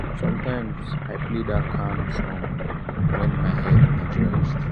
sometimes i play that calm song when my head need rest."